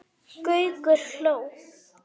Gaukur hló.